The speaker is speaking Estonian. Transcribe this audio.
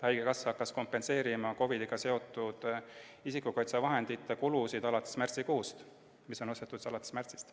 Haigekassa hakkas kompenseerima COVID-iga seotud isikukaitsevahendite kulusid alates märtsikuust – kompenseeriti need kaitsevahendid, mis osteti alates märtsist.